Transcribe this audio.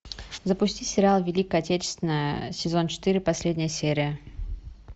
запусти сериал великая отечественная сезон четыре последняя серия